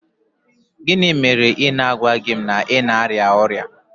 Gịnị mere na ị gwaghị m na ị na-arịa ọrịa?